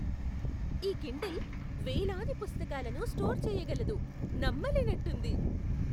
ఈ కిండిల్ వేలాది పుస్తకాలను స్టోర్ చేయగలదు. నమ్మలేనట్టుంది!